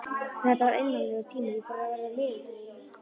Þetta var einmanalegur tími og ég fór að verða niðurdregin.